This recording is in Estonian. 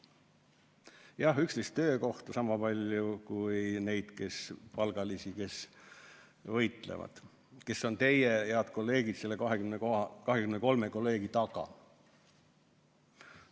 Jah, 11 töökohta, sama palju kui neid palgalisi, kes võitlevad, kes on meie 23 hea kolleegi taga.